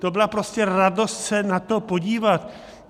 To byla prostě radost se na to podívat.